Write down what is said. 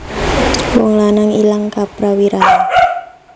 Wong lanang ilang kaprawirane